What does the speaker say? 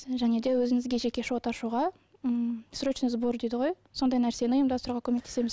және де өзіңізге жеке шот ашуға м срочный сбор дейді ғой сондай нәрсені ұйымдастыруға көмектесеміз